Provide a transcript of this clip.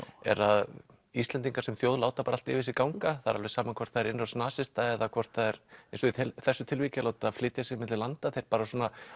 er að Íslendingar sem þjóð láta allt yfir sig ganga alveg sama hvort það er innrás nasista eða hvort það er eins og í þessu tilviki að láta flytja sig milli landa þeir bara